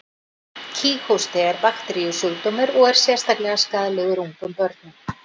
Kíghósti er bakteríusjúkdómur og er sérlega skaðlegur ungum börnum.